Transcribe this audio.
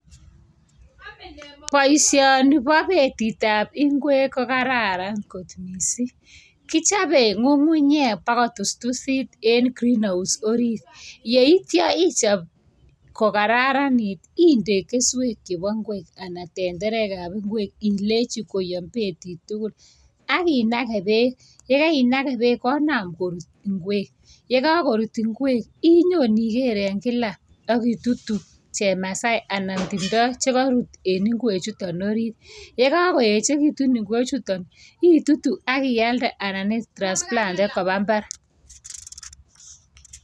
Boishoni bo betit ab ingwek ko kararan kot mising. Kichabei ng'ung'unyek bo kotustusit en greenhouse orit. Yeityo ichop ko kararanit, inde keswek chebo ingwek anan tenderek chebo ingwek, ak indechi koyom betit tugul. Ak inake bek, yekainage bek konam korut ingwek .yekakorut ingwek inyon iger eng kila betut ak inam itutu chemasai anan timto chekarut eng ingwekchutok orit. Yekakoechekitu ingwekchutok itutu ak ialde anan i transplanten kopa imbar.